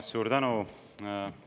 Suur tänu!